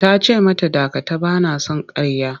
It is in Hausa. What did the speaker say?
Ta ce mata dakata! Ba na son ƙarya.